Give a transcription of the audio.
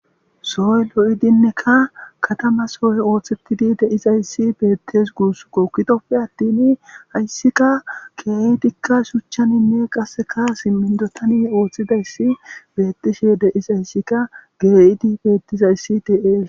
soy lo7idinnekka katama soy ooththettidi deizayssi beettes guuss kokitoppe attin hayssikka keedikka shuchchaninne qaseka simindotani ooththidayssi beettishe deizayssikka geeyidi beettizayssi teees